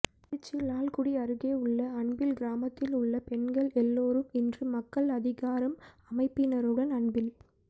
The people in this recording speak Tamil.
திருச்சி லால்குடி அருகே உள்ள அன்பில் கிராமத்தில் உள்ள பெண்கள் எல்லோரும் இன்று மக்கள் அதிகாரம் அமைப்பினருடன் அன்பில்